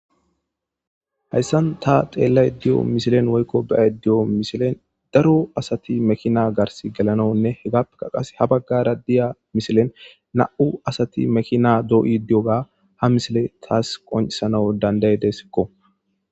Hayssan ta xelaydda deyyo missilen woykko bea'ydda deyyo missilen daro assathi makinna garsi gelanawu hegapekka qasse ha bagara diyyo missile nau' assathi makinna doyidi diyogga ha missile tas qoncisanwu dandai'dess.